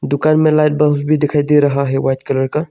दुकान में light bulb भी दिखाई दे रहा है वाइट कलर का।